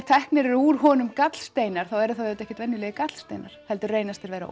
teknir eru úr honum gallsteinar þá eru það ekkert venjulegir gallsteinar heldur reynast þeir vera